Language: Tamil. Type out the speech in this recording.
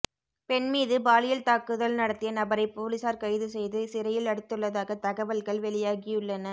பெண் மீது பாலியல் தாக்குதல் நடத்திய நபரை பொலிசார் கைது செய்து சிறையில் அடைத்துள்ளதாக தகவல்கள் வெளியாகியுள்ளன